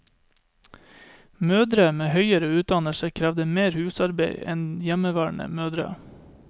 Mødre med høyere utdannelse krevde mer husarbeid en hjemmeværende mødre.